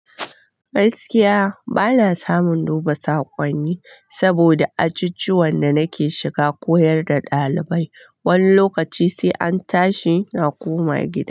Gaskiya bana samun duba sakonni saboda ajujuwan da nake shiga koyar da ɗalibai. Wani lokaci sai an tashi na koma gida.